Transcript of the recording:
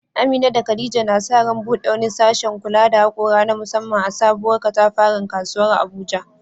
Amina da Khadija na sa ran bude wani sashen kula da haƙora na musamman a sabuwar katafaren kasuwar Abuja.